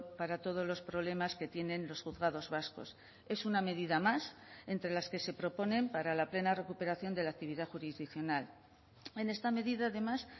para todos los problemas que tienen los juzgados vascos es una medida más entre las que se proponen para la plena recuperación de la actividad jurisdiccional en esta medida además